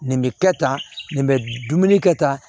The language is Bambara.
Nin bɛ kɛ tan nin bɛ dumuni kɛta